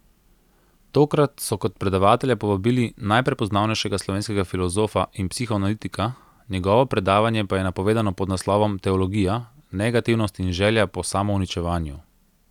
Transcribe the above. Tokrat so kot predavatelja povabili najprepoznavnejšega slovenskega filozofa in psihoanalitika, njegovo predavanje pa je napovedano pod naslovom Teologija, negativnost in želja po samouničevanju.